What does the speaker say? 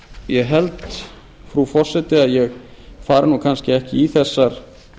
ég held frú forseti að ég fari kannski ekki í þessar